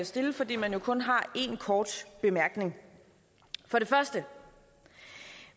stille fordi man kun har én kort bemærkning for det første